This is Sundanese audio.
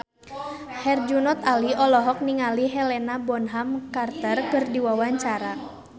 Herjunot Ali olohok ningali Helena Bonham Carter keur diwawancara